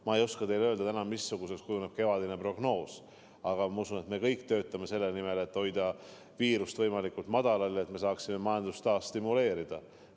Ma ei oska teile täna öelda, missuguseks kujuneb kevadine prognoos, aga ma usun, et me kõik töötame selle nimel, et hoida viiruse levik võimalikult väike, et saaksime majandust taas stimuleerida.